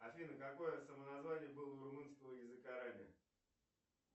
афина какое самоназвание было у румынского языка ранее